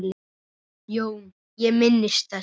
JÓN: Ég minnist þess.